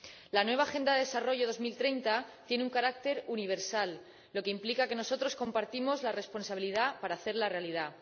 La nueva Agenda de Desarrollo Sostenible para 2030 tiene un carácter universal, lo que implica que nosotros compartimos la responsabilidad de hacerla realidad.